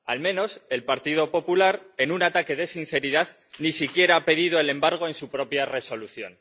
Al menos el Partido Popular, en un ataque de sinceridad, ni siquiera ha pedido el embargo en su propia Resolución.